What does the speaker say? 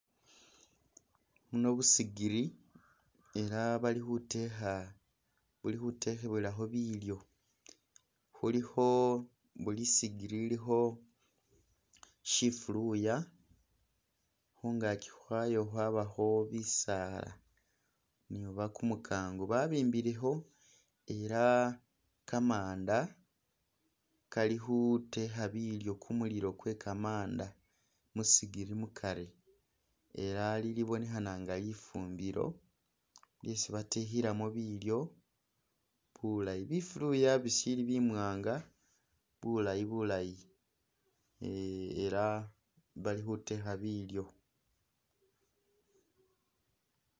Buno busigili ela bali khutekha buli khutebwelakho bilyo. Bulikho buli i'sigili ilikho shifuluya, khungaki khwayo khwabakho bisaala oba kumukango. Babimbilekho ela kamanda kali khutekha bilyo khumulilo kwe kamaanda musigili mukari ela ili libonekhana nga lifumbilo lisi batekhelamu bilyo bulaayi. Bifuluya bisili bimwaanga bulaayi bulaayi eh ela bali khutekha bilyo.